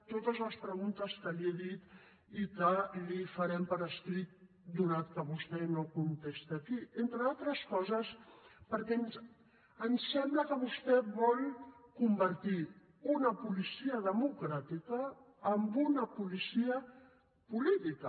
totes les preguntes que li he dit i que li farem per escrit donat que vostè no contesta aquí entre d’altres coses perquè ens sembla que vostè vol convertir una policia democràtica en una policia política